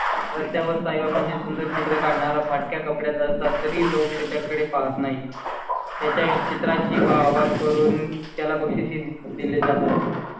रस्त्यावर साई बाब म्हणजे सुंदर चित्र काढणारा फाटक्या कपड्यात असता तरी लोक त्याकडे पाहात नाहीत. त्याच्या चित्रांची व्हावा करून त्याला बक्षीस दिले जातात.